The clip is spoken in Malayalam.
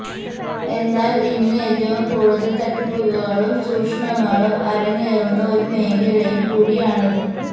എന്നാല് ഇന്ന് ഏറ്റവും കൂടുതല് തട്ടിപ്പുകളും ചൂഷണങ്ങളും അരങ്ങേറുന്ന ഒരു മേഖലയും കൂടിയാണിത്